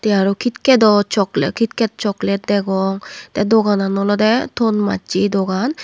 he arow kitkedo chokle kitket choklet degong te doganan ole ton macchje dogan.